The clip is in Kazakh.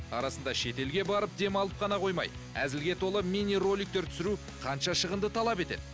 арасында шетелге барып демалып қана қоймай әзілге толы мини роликтер түсіру қанша шығынды талап етеді